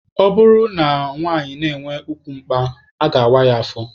Ọ bụrụ na nwanyị na-enwe ukwu mkpa, a ga-awa ya afọ.